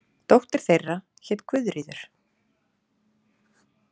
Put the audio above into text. Dóttir þeirra hét Guðríður.